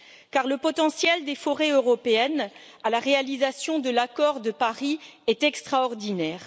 Car le potentiel des forêts européennes pour la réalisation de l'accord de Paris est extraordinaire.